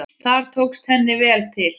Þar tókst henni vel til.